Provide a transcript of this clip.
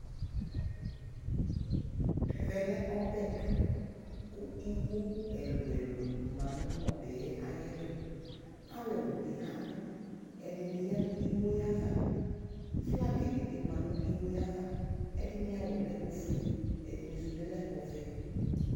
Ɛvɛlɛ ɔbɛ tu ku iwo ɛlu ɛlu ma nu ɔbɛtu alulu bi abu ɛdini ya nu iwo yɛ ayava flagi ni bi ma nu iwo yɛ ayava ɛdini awu yɛ lɛ ofue ɛdini su bi lɛ ɔvɛ